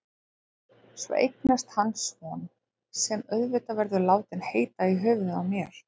Svo eignast hann son, sem auðvitað verður látinn heita í höfuðið á mér.